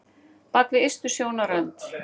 Bak við ystu sjónarrönd